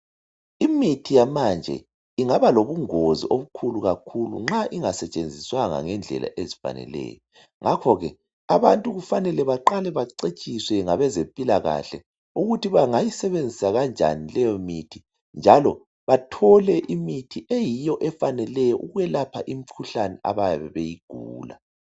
Imithi yamanje ingaba lobungozi obukhulu kakhulu nxa ingasetshenziswanga ngendlela ezifaneleyo ngakho ke abantu kufanele baqale bacetshiswe ngabezempilakahle ukuthi bengayisebenzisa kanjani leyo mithi njalo bathole imithi eyiyo efaneleyo ukwelapha imkhuhlane abayabe beyigula.